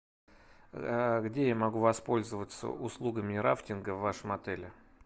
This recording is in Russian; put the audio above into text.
где я могу воспользоваться услугами рафтинга в вашем отеле